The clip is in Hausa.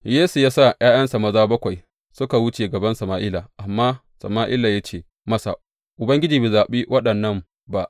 Yesse ya sa ’ya’yansa maza bakwai suka wuce gaban Sama’ila, amma Sama’ila ya ce masa, Ubangiji bai zaɓi waɗannan ba.